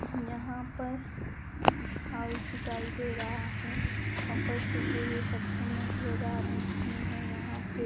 यहां पर हाउस दिखाई दे रहा है यहां पे सूखे हुए पत्ते नजर आ रहे हैं यहां पे--